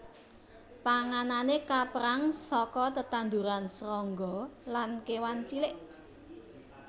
Panganané kapérang saka tetanduran srangga lan kéwan cilik